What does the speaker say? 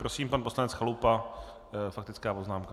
Prosím pan poslanec Chalupa, faktická poznámka.